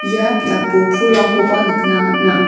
ia biapo pulrangkoba nikna man·a.